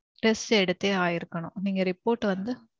test எடுத்தே ஆயிருக்கணும். நீங்க report வந்து